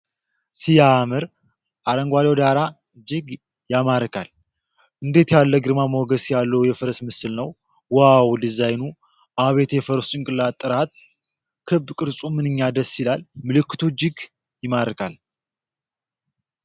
ሲያምር! አረንጓዴው ዳራ እጅግ ያማርካል። እንዴት ያለ ግርማ ሞገስ ያለው የፈረስ ምስል ነው! ዋው ዲዛይኑ! አቤት የፈረሱ ጭንቅላት ጥራት! ክብ ቅርፁ ምንኛ ደስ ይላል! ምልክቱ እጅግ ይማርካል።